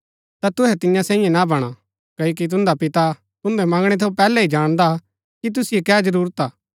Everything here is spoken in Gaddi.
ता तुहै तियां सैईयें ना बणा क्ओकि तुन्दा पिता तुन्दै मंगणै थऊँ पैहलै ही जाणदा कि तुसिओ कै जरूरत हा